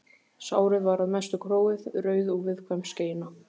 Sárið var að mestu gróið, rauð og viðkvæm skeina.